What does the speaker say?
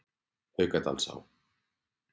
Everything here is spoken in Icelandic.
Haukadalsá